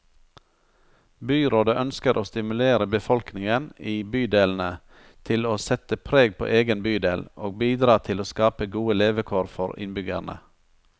Byrådet ønsker å stimulere befolkningen i bydelene til å sette preg på egen bydel, og bidra til å skape gode levekår for innbyggerne.